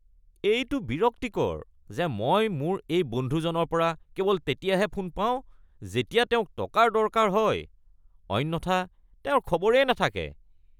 এইটো বিৰক্তিকৰ যে মই মোৰ এই বন্ধুজনৰ পৰা কেৱল তেতিয়াহে ফোন পাওঁ যেতিয়া তেওঁক টকাৰ দৰকাৰ হয় অন্যথা তেওঁৰ খবৰেই নাথাকে।